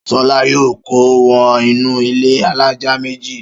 Ṣọlá yóò kó wọ inú ilé alájà méjì.